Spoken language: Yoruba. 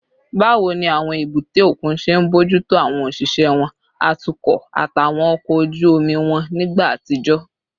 Báwo ni àwọn èbúté òkun ṣe ń bójú tó àwọn òṣìṣẹ́ wọn, atukọ̀, àtàwọn ọkọ̀ ojú omi wọn nígbà àtijọ́?